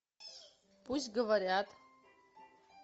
пусть говорят